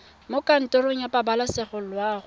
mo kantorong ya pabalesego loago